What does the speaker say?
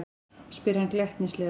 spyr hann glettnislega.